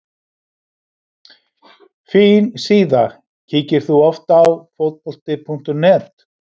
Fín síða Kíkir þú oft á Fótbolti.net?